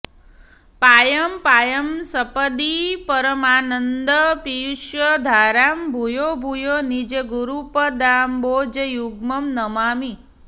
पायं पायं सपदि परमानन्दपीयूषधारां भूयो भूयो निजगुरुपदाम्बोजयुग्मं नमामि